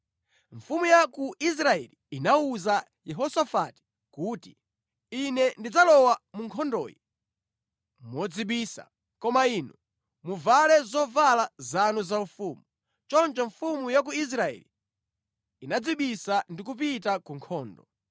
Mfumu ya ku Israeli inawuza Yehosafati kuti, “Ine ndidzalowa mu nkhondoyi modzibisa, koma inu muvale zovala zanu zaufumu.” Choncho mfumu ya ku Israeli inadzibisa ndi kupita ku nkhondo.